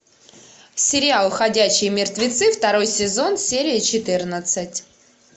сериал ходячие мертвецы второй сезон серия четырнадцать